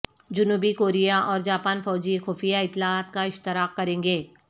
جنوبی کوریااور جاپان فوجی خفیہ اطلاعات کا اشتراک کریں گے